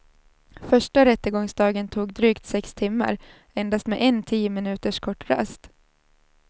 Första rättegångsdagen tog drygt sex timmar, endast med en tio minuters kort rast.